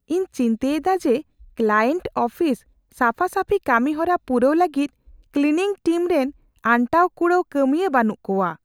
ᱤᱧ ᱪᱤᱱᱛᱟᱹᱭᱮᱫᱟ ᱡᱮ ᱠᱞᱟᱭᱮᱱᱴ ᱟᱯᱷᱤᱥ ᱥᱟᱯᱷᱟᱼᱥᱟᱹᱯᱷᱤ ᱠᱟᱹᱢᱤᱦᱚᱨᱟ ᱯᱩᱨᱟᱹᱣ ᱞᱟᱹᱜᱤᱫ ᱠᱞᱤᱱᱤᱝ ᱴᱤᱢ ᱨᱮᱱ ᱟᱱᱴᱟᱣᱼᱠᱩᱲᱟᱹᱣ ᱠᱟᱹᱢᱤᱭᱟᱹ ᱵᱟᱹᱱᱩᱜ ᱠᱚᱣᱟ ᱾